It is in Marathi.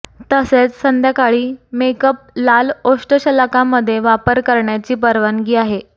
तसेच संध्याकाळी मेकअप लाल ओष्ठशलाका मध्ये वापर करण्याची परवानगी आहे